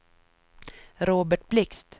Robert Blixt